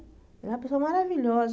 É uma pessoa maravilhosa.